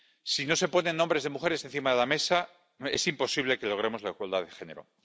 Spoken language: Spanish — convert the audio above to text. Si no se ponen nombres de mujeres encima de la mesa, es imposible que logremos la igualdad de género.